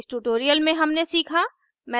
इस tutorial में हमने सीखा